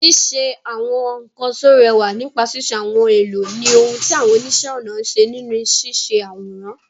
Ṣíṣe àwọn nkan tó rẹwà nípa ṣíṣe àwọn ohun èlò ni ohun tí àwọn oníṣẹ́-ọnà ń ṣe nínú ṣíṣe àwòrán.